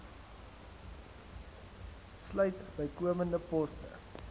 sluit bykomende poste